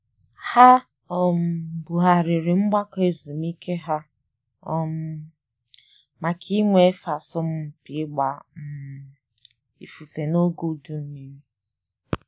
Ha um bughariri mgbakọ ezumike ha um maka inwe efe asọmupi ịgba um ifufe n’oge udu mmiri